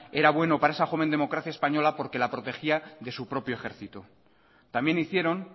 era bueno para esa joven democracia española porque la protegía de su propio ejército también hicieron